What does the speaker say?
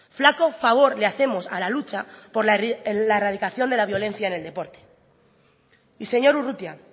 flaco favor le hacemos a la lucha por la erradicación de la violencia en el deporte y señor urrutia